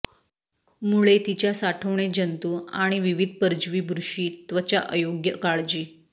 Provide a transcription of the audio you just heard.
मुळे तिच्या साठवणे जंतू आणि विविध परजीवी बुरशी त्वचा अयोग्य काळजी